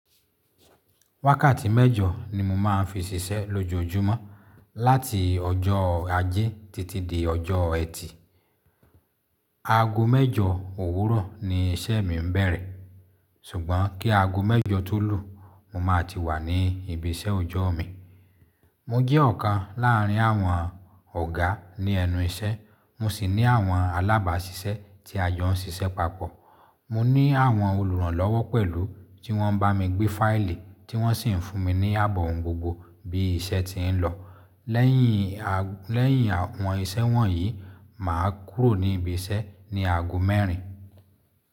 Wákàtí mẹ́jọ ni mo máa ń fi ṣiṣẹ́ lójoojúmọ́, láti ọjọ́ ajé títí dé ọjọ́ ẹtì. Aago mẹ́jọ òwúrọ̀ ni iṣẹ́ mi ń bẹ̀rẹ̀, ṣùgbọ́n kí aago mẹ́jọ tó lù, mo máa ti wà ní ibi iṣẹ́ ọjọ́ mi. Mo jẹ́ ọ̀kan láàárín àwọn ọ̀gá ní ẹnu iṣẹ́, mo sì ní àwọn alábàáṣiṣẹ́ tí a jó ń ṣiṣẹ́ papọ̀. Mo ní àwọn olùrànlọ́wọ́ pẹ̀lú, tí wọ́n ń bá mi gbé fáìlì, tí wọ́n sì ń fún mi ní àbọ̀ ohun gbogbo bí iṣẹ́ ti ń lọ. Lẹ́yìn àwọn iṣẹ́ wọ̀nyí, mà á kúrò ní ibi iṣẹ́ ní aago mẹ́rin.